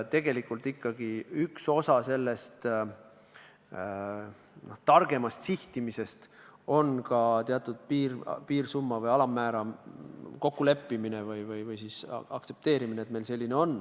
Tegelikult on ikkagi üks osa sellest targemast sihtimisest ka teatud piirsummas või alammääras kokkuleppimine või olemasoleva aktsepteerimine.